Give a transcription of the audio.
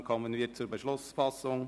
Dann kommen wir zur Beschlussfassung.